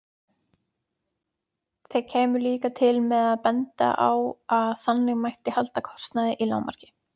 Þeir kæmu líka til með að benda á að þannig mætti halda kostnaði í lágmarki.